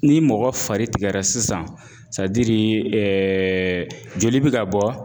Ni mɔgɔ fari tigɛra sisan joli bɛ ka bɔ